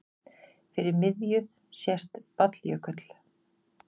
Fyrir miðju sést Balljökull.